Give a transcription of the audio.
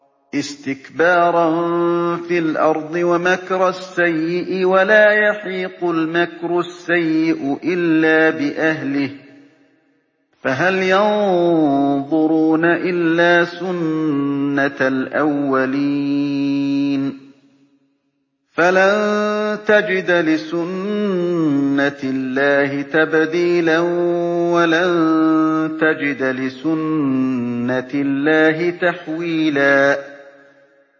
اسْتِكْبَارًا فِي الْأَرْضِ وَمَكْرَ السَّيِّئِ ۚ وَلَا يَحِيقُ الْمَكْرُ السَّيِّئُ إِلَّا بِأَهْلِهِ ۚ فَهَلْ يَنظُرُونَ إِلَّا سُنَّتَ الْأَوَّلِينَ ۚ فَلَن تَجِدَ لِسُنَّتِ اللَّهِ تَبْدِيلًا ۖ وَلَن تَجِدَ لِسُنَّتِ اللَّهِ تَحْوِيلًا